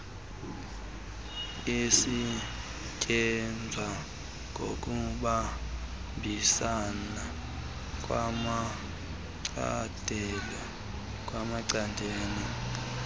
isetyenzwa ngokubambisana kwamacandelo